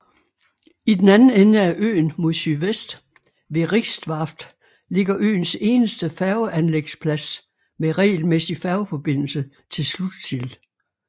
I den anden ende af øen mod sydvest ved Rixvarft ligger øens eneste færgeanlægsplads med regelmæssig færgeforbindelse til Slutsil